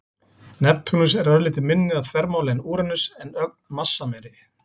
Neptúnus er örlítið minni að þvermáli en Úranus en ögn massameiri.